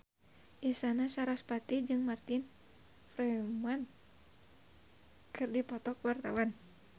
Isyana Sarasvati jeung Martin Freeman keur dipoto ku wartawan